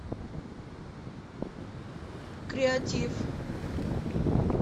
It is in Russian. креатиф